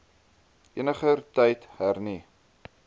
eniger tyd hernu